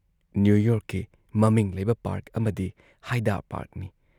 New ꯌꯣꯔꯛꯀꯤ ꯃꯃꯤꯡ ꯂꯩꯕ ꯄꯥꯔꯛ ꯑꯃꯗꯤ ꯍꯥꯏꯗꯥ ꯄꯥꯔꯛꯅꯤ ꯫